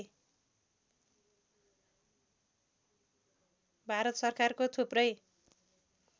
भारत सरकारको थुप्रै